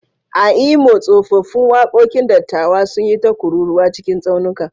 A Imo, tsofaffin waƙoƙin dattawa sun yi ta kururwa cikin tsaunuka.